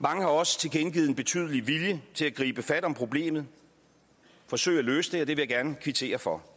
mange har også tilkendegivet en betydelig vilje til at gribe fat om problemet forsøge at løse det og det vil jeg gerne kvittere for